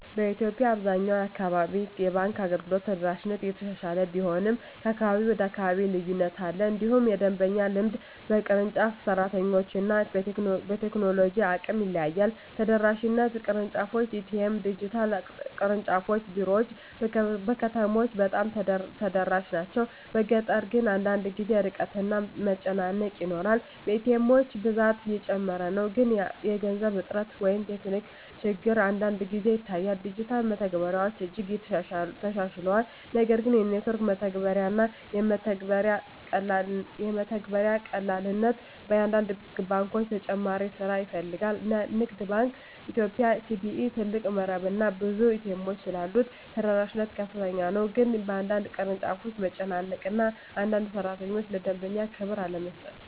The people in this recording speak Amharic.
በኢትዮጵያ አብዛኛው አካባቢ የባንክ አገልግሎት ተደራሽነት እየተሻሻለ ቢሆንም ከአካባቢ ወደ አካባቢ ልዩነት አለ። እንዲሁም የደንበኛ ልምድ በቅርንጫፍ፣ በሰራተኞች እና በቴክኖሎጂ አቅም ይለያያል። ተደራሽነት (ቅርንጫፎች፣ ኤ.ቲ.ኤም፣ ዲጂታል) ቅርንጫፍ ቢሮዎች በከተሞች በጣም ተደራሽ ናቸው፤ በገጠር ግን አንዳንድ ጊዜ ርቀት እና መጨናነቅ ይኖራል። ኤ.ቲ. ኤሞች ብዛት እየጨመረ ነው፣ ግን የገንዘብ እጥረት ወይም ቴክኒክ ችግር አንዳንድ ጊዜ ይታያል። ዲጂታል መተግበሪያዎች እጅግ ተሻሽለዋል፣ ነገር ግን የኔትወርክ መረጋጋት እና የመተግበሪያ ቀላልነት በአንዳንድ ባንኮች ተጨማሪ ስራ ይፈልጋል። ንግድ ባንክ ኢትዮጵያ (CBE) ትልቅ መረብ እና ብዙ ኤ.ቲ. ኤሞች ስላሉት ተደራሽነት ከፍተኛ ነው፤ ግን በአንዳንድ ቅርንጫፎች መጨናነቅ እና አንዳንድ ሠራተኞች ለደንበኛ ክብር አለመስጠት